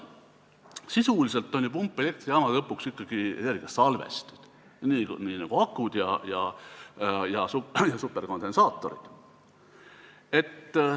Sisuliselt on pumpelektrijaamad lõpuks ikkagi energiasalvestid, nii nagu akud ja superkondensaatorid.